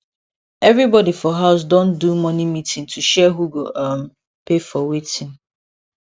everybody for house don do money meeting to share who go um pay for wetin